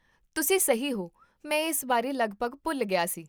ਤੁਸੀਂ ਸਹੀ ਹੋ, ਮੈਂ ਇਸ ਬਾਰੇ ਲਗਭਗ ਭੁੱਲ ਗਿਆ ਸੀ